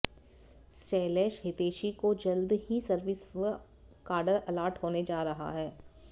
शैलेश हितैषी को जल्द ही सर्विस व काडर अलाट होने जा रहा है